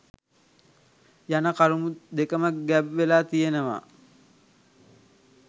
යන කරුණු දෙකම ගැබ් වෙලා තියෙනවා